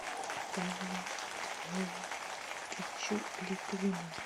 павлу львовичу литвинову